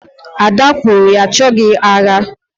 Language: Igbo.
Ada kwuru, achoghị agha